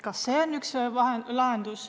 Kas see on üks lahendus?